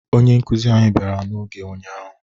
Onye nkụzi anyị bịara n'oge ụnyaahụ